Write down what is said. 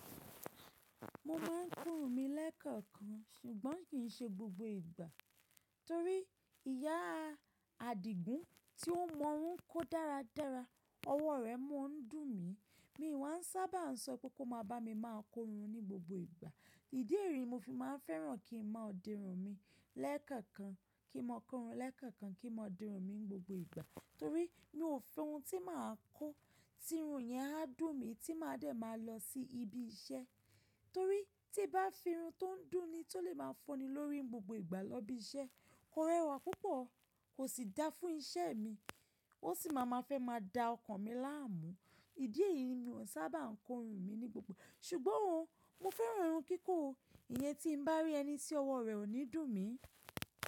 Mo máa ń korun mi lẹ́ẹ̀kọ̀kan, ṣùgbọ́n kì í ṣe gbogbo ìgbà torí ìyá Adigun tí ó mọ̀ ọ́n kó dáradára, ọwọ́ rẹ̀ mú ń dùn mí. Mi wà á sábà ń sọ pé kó máa bá mi máa korun ní gbogbo ìgbà. Ìdí èyí ni mo fi máa ń fẹ́ràn kí n máa di irun mi lẹ́ẹ̀kọ̀kan, kí n máa korun lẹ́ẹ̀kọ̀kan, kí n máa di irun mi ní gbogbo ìgbà torí mi ò fẹ́ ohun tí màá kó, tirun yẹn á dùn mí tí màá dẹ̀ máa lọ sí ibi iṣẹ́. Torí tí bá fi irun tó ń dùn ni tó lè máa fúnni lórí gbogbo ìgbà lọ ibi iṣẹ́, kò rẹwà púpọ̀, kò sì dáa fún iṣẹ́ mi. Ó sì máa ma fẹ́ máa da ọkàn mi láàmú. Ìdí èyí ni mi ò sábà ń korun mi ní gbogbo. Ṣùgbọ́n o mo fẹ́ran irun kíkó o Ìyẹn tí n bá rí ẹni tí ọwọ́ rẹ̀ ò ní dùn mí.